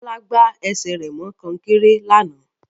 Bọ́lá gbá ẹsẹ̀ rẹ̀ mọ kọ́nkéré lánàá